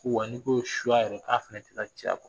Wa n'i ko suya yɛrɛ k'a fana tɛ ta cɛya kɔ